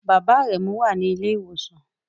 Bàbá Aremu wà ní ilé ìwòsàn